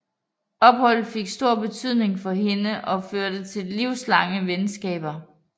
Opholdet fik stor betydning for hende og førte til livslange venskaber